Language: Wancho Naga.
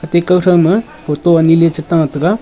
tekaw thakma photo lechi ta taiga.